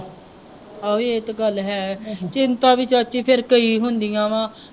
ਆਹ ਵੀ ਇੱਕ ਗੱਲ ਹੈ, ਚਿੰਤਾ ਵੀ ਚਾਚੀ ਫੇਰ ਕਈ ਹੁੰਦੀਆਂ ਵਾ